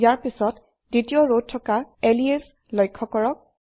ইয়াৰ পিছত দ্বিতীয় ৰত থকা এলিয়াছ লক্ষ্য কৰক